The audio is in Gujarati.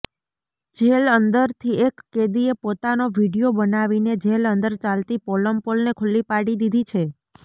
જેલ અંદરથી એક કેદીએ પોતાનો વિડિયો બનાવીને જેલ અંદર ચાલતી પોલમપોલને ખુલ્લી પાડી દીધી છે